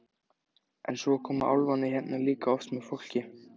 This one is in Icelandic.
En svo koma álfarnir hérna líka oft með fólki.